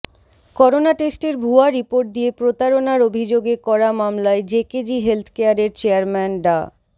corona টেস্টের ভুয়া report দিয়ে প্রতারণার অভিযোগে করা মামলায় জেকেজি হেলথকেয়ারের চেয়ারম্যান ডা